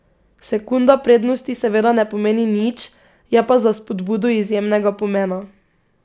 Sekunda prednosti seveda ne pomeni nič, je pa za spodbudo izjemnega pomena.